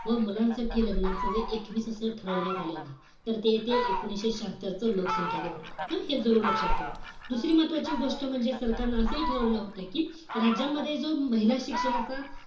व मुलांसाठी लग्नाचं वय एकवीस असं ठरवण्यात आलं नाही. तर ते ते एकोणीशे शहात्तरच लोकसंख्या धोरण. हं? हे जरूर लक्षात ठेवा. दुसरी महत्वाची गोष्ट म्हणजे सरकारनं असाही ठरवलं होतं कि राज्यामध्ये जो महिला शिक्षणाचा,